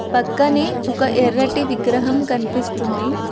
పక్కనే ఒక ఎర్రటి విగ్రహం కనిపిస్తుంది.